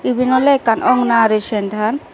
ebane olay ekan agonari center